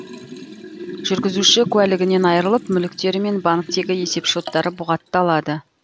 жүргізуші куәлігінен айырылып мүліктері мен банктегі есепшоттары бұғатталады